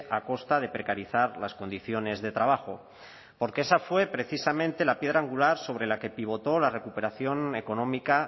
a costa de precarizar las condiciones de trabajo porque esa fue precisamente la piedra angular sobre la que pivotó la recuperación económica